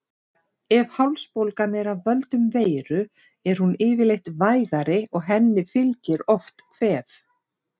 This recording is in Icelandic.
Ef hálsbólgan er af völdum veiru er hún yfirleitt vægari og henni fylgir oft kvef.